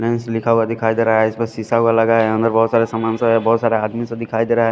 Mains लिखा हुआ दिखाई दे रहा है इस पे शीशा लगा हुआ है अंदर बहुत सारा समान सा है बहुत सारा आदमी सा दिखाई दे रहा है ।